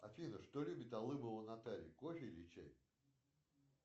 афина что любит алыбова наталья кофе или чай